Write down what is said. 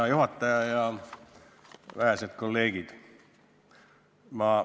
Hea juhataja ja vähesed kolleegid!